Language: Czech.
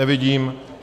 Nevidím.